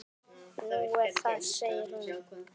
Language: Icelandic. Nú, er það segir hún.